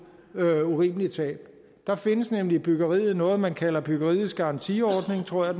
urimelige tab der findes nemlig i byggeriet noget man kalder byggeriets garantiordning tror jeg